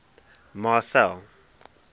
marcel